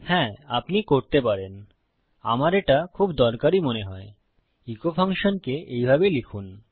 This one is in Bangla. হ্যা আপনি করতে পারেন আমার এটা খুব দরকারী মনে হয় ইকো ফাংশনকে এইভাবে লিখুন